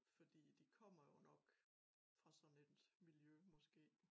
Fordi de kommer jo nok fra sådan et miljø måske